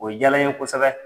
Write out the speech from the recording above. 0 jala n ye kosɛbɛ.